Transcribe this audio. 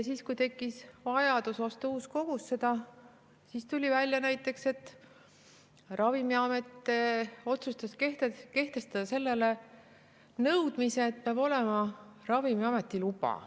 Aga kui tekkis vajadus osta uus kogus, siis tuli välja, et Ravimiamet otsustas kehtestada nõudmise, et selleks peab olema Ravimiameti luba.